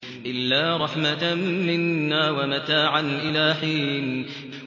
إِلَّا رَحْمَةً مِّنَّا وَمَتَاعًا إِلَىٰ حِينٍ